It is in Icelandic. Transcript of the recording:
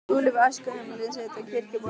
Skúli við æskuheimili sitt á Kirkjubóli.